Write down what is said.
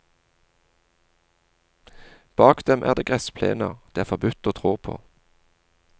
Bak dem er det gressplener det er forbudt å trå på.